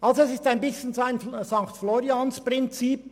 Die Motion Jost folgt ein wenig dem Sankt-Florians-Prinzip: